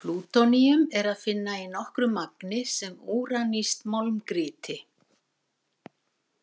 Plútóníum er að finna í nokkru magni sem úranískt málmgrýti.